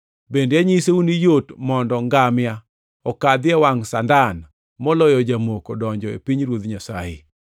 Bende anyisou ni yot mondo ngamia okadhi e wangʼ sandan moloyo jamoko donjo e pinyruodh Nyasaye.”